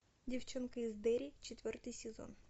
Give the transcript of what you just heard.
девчонка из дерри четвертый сезон